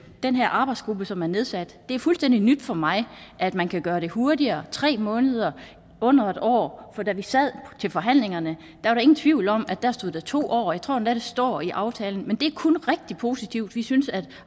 den her arbejdsgruppe som er nedsat at det er fuldstændig nyt for mig at man kan gøre det hurtigere tre måneder under en år for da vi sad til forhandlingerne var der ingen tvivl om at der stod to år og jeg tror endda det står i aftalen men det er kun rigtig positivt vi synes at